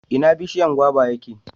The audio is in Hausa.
ina bishiyan gwaba ya ke?